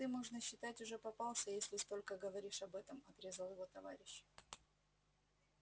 ты можно считать уже попался если столько говоришь об этом отрезал его товарищ